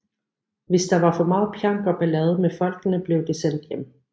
Hvis der var for meget pjank og ballade med folkene blev de sendt hjem